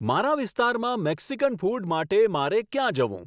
મારા વિસ્તારમાં Mexican food માટે મારે ક્યાં જવું